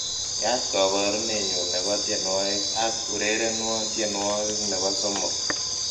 yaat koborunenyun nebo tienywogik ak urerenwon tienywogik nebo somok